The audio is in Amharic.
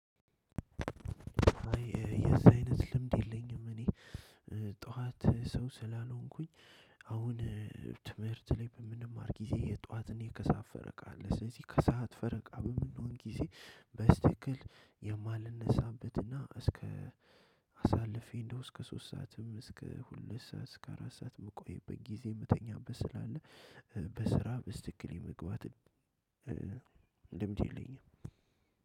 አይ የዚህ አይነት ልምድ የለኝም። እኔ ጠዋት ሰው ስላልሆንኩኝ አሁን ትምህርት ላይ በምንማር ጊዜ የጧት እኔ ከሳት ፈረቃ አለ ስለዚህ ከሰአት ፈረቃ በምንሆን ጊዜ በስትክክል የማልነሳበትና እስከ አሳልፌ እንደው እስከ ሶስት ሰዓትም እስከ ሁለት ሰዓት እስከ አራት ሰዓት ምቆይበት ጊዜ የምተኛበት ስላለ። በስራ በስተክክል የመግባት ልምድ የለኝም።